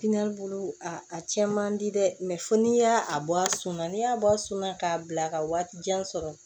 bolo a cɛn man di dɛ fo n'i y'a bɔ a suma na n'i y'a bɔ a suma k'a bila ka waati jan sɔrɔ